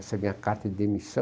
Essa é a minha carta de demissão.